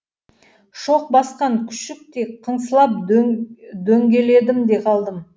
шоқ басқан күшіктей қыңсылап дөңгеледім де қалдым